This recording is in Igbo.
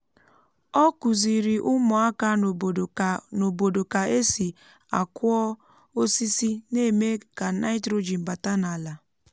ọ kụziri ụmụaka n'obodo ka n'obodo ka esi akụọ osisi na-eme ka nitrogen bata n'ala